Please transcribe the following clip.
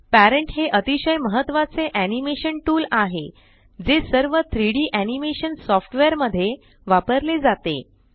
parent हे अतिशय महत्वाचे एनिमेशन टूल आहे जे सर्व 3डी एनिमेशन सॉफ्टवेअर मध्ये वापरले जाते